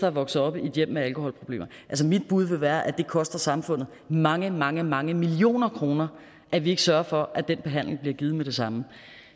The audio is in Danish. er vokset op i et hjem med alkoholproblemer mit bud vil være at det koster samfundet mange mange mange millioner kroner at vi ikke sørger for at den behandling bliver givet med det samme